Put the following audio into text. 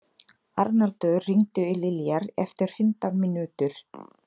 Arnaldur, hringdu í Liljar eftir fimmtán mínútur.